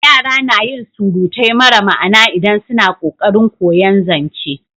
Yara na yin surutai mara ma'ana idan suna ƙoƙarin koyan zance